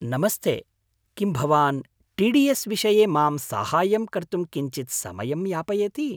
नमस्ते, किं भवान् टी डी एस् विषये मां साहाय्यं कर्तुं किञ्चित् समयं यापयति?